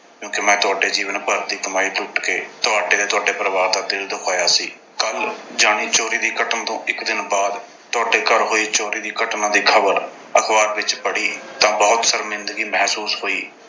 ਕਿਉਂ ਕਿ ਮੈਂ ਤੁਹਾਡੇ ਜੀਵਨ ਭਰ ਦੀ ਕਮਾਈ ਲੁੱਟ ਕੇ ਤੁਹਾਡੇ ਤੇ ਤੁਹਾਡੇ ਪਰਿਵਾਰ ਦਾ ਦਿਲ ਦੁਖਾਇਆ ਸੀ। ਕੱਲ੍ਹ ਯਾਨੀ ਚੋਰੀ ਦੀ ਘਟਨਾ ਤੋਂ ਇੱਕ ਦਿਨ ਬਾਅਦ ਤੁਹਾਡੇ ਘਰ ਹੋਈ ਚੋਰੀ ਦੀ ਘਟਨਾ ਦੀ ਖਬਰ ਅਖਬਾਰ ਵਿੱਚ ਪੜ੍ਹੀ ਤਾਂ ਬਹੁਤ ਸ਼ਰਮਿੰਦਗੀ ਮਹਿਸੂਸ ਹੋਈ।